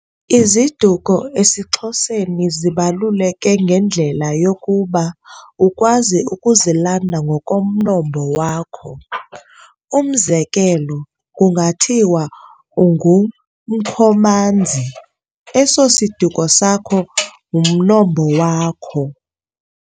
IziDuko esiXhoseni zibaluleke ngendlela yokuba ukwazi ukuzilanda ngokomnombo wakho.umzekelo kunga thiwa ungu Mkhomanzi esosisiduko sakho umnombo wakho.